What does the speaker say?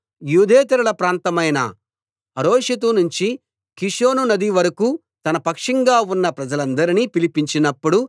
యూదేతరుల ప్రాంతమైన హరోషెతు నుంచి కీషోను నది వరకూ తన పక్షంగా ఉన్న ప్రజలందరినీ పిలిపించినప్పుడు